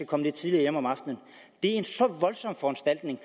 kommer lidt tidligere hjem om aftenen er en så voldsom foranstaltning